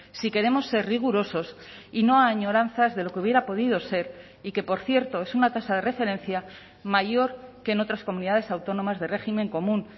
si queremos ser rigurosos y no a añoranzas de lo que hubiera podido ser y que por cierto es una tasa de referencia mayor que en otras comunidades autónomas de régimen común